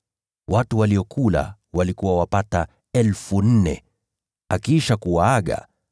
Watu waliokula walikuwa wapata 4,000. Akiisha kuwaaga,